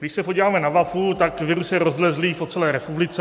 Když se podíváme na mapu, tak virus je rozlezlý po celé republice.